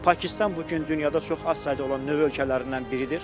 Pakistan bu gün dünyada çox az sayda olan nüvə ölkələrindən biridir.